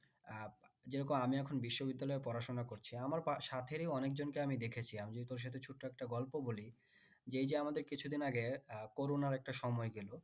আহ যেরকম আমি এখন বিশ্ব বিদ্যালয়ে পড়াশোনা করছি আমার অনেক জনকে আমি দেখেছি। আমি যদি তোর সাথে ছোট্ট একটা গল্প বলি যে এই যে আমাদের কিছুদিন আগে আহ করোনার একটা সময় গেলো